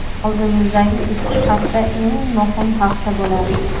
Oldimizdagi ikki hafta eng muhim hafta bo‘ladi.